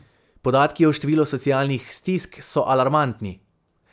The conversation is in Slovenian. Podatki o številu socialnih stisk so alarmantni.